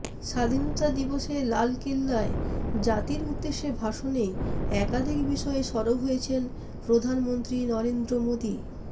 স্বাধীনতা দিবসে লালকেল্লায় জাতির উদ্দেশে ভাষণে একাধিক বিষয়ে সরব হয়েছেন প্রধানমন্ত্রী নরেন্দ্র মোদি